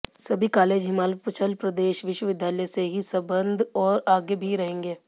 सभी कालेज हिमाचल प्रदेश विश्वविद्यालय से ही संबद्ध हैं और आगे भी रहेंगे